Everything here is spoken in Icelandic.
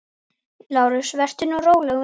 LÁRUS: Vertu nú róleg, vina.